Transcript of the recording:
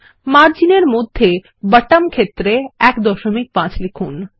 মার্জিনএর মধ্যে বটম ক্ষেত্রে 15 লিখুন